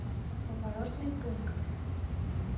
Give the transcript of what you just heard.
поворотный пункт